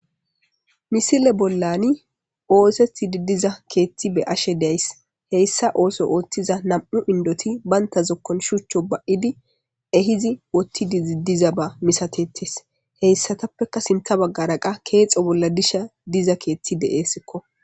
misile bollani oosetidi diza keetti be ashe days heyssa ooso ooththiza nam7u indoti baynta zokkon shuchcho ba7idi ehizi wottidi ziddiza ba misatettis heyssatappeka sinta baggara qa keexo bolla disha diza keethi de7eesikko